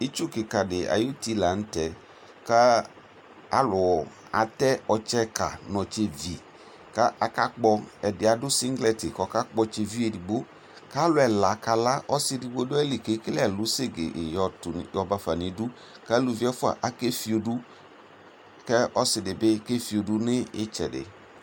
itsʋ kikaa di ayi ʋti lantɛ ka alʋ atɛ ɔtsɛ ka nʋ ɔtsɛ vi kʋ aka kpɔ, ɛdi adʋ singlet kʋ ɔka kpɔ ɔtsɛ viʋ ɛdigbɔ kʋ alʋ ɛla kala, ɔsii ɛdigbɔ dʋali kʋ ɛkɛlɛ ɛlʋ sɛgɛɛ yɔbaƒa nʋ idʋ kʋ alʋvi ɛƒʋa akɛ ƒiɔdʋ kʋbɔsiidi bibɔkɛ ƒiɔdʋ nʋ itsɛdi